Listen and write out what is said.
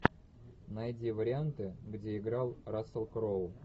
найди варианты где играл рассел кроу